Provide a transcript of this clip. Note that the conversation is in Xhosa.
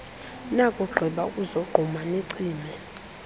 nakugqiba ukuzogquma nicimele